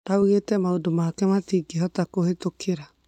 augĩte maundu make matĩngĩbota kũbitũkira